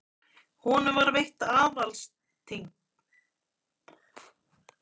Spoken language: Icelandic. Honum var veitt aðalstign í Bæjaralandi og Danakonungur sæmdi hann riddarakrossi Dannebrogsorðunnar.